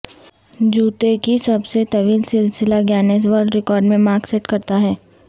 جوتے کی سب سے طویل سلسلہ گینیس ورلڈ ریکارڈز میں مارک سیٹ کرتا ہے